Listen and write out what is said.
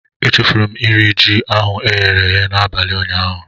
E chefuru m iri ji ahụ m ghere n'abalị ụnyaahụ.